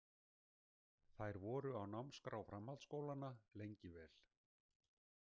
Þær voru á námskrá framhaldsskólanna lengi vel.